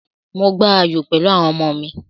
Mò gba ayò pẹ̀lú àwọn ọmọ mi.